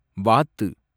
வாத்து